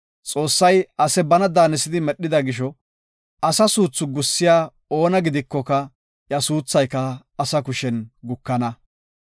Xoossay ase bana daanisidi medhida gisho, asa suuthi gussiya oona gidikoka iya suuthayka asa kushen gukana.